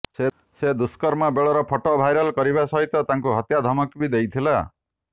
ସେ ଦୁଷ୍କର୍ମ ବେଳର ଫଟୋ ଭାଇରାଲ କରିବା ସହିତ ତାଙ୍କୁ ହତ୍ୟା ଧମକ ବି ଦେଇଥିଲା